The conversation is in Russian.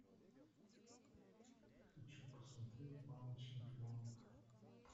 хочу посмотреть мамы чемпионов